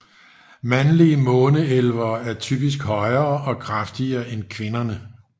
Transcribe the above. Mandlige måneelvere er typisk højere og kraftigere end kvinderne